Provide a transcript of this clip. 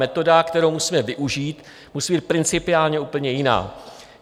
Metoda, kterou musíme využít, musí být principiálně úplně jiná.